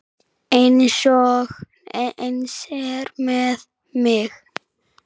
Eins er með mig.